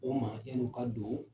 O ma yann'u ka don